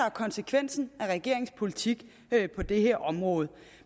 er konsekvensen af regeringens politik på det her område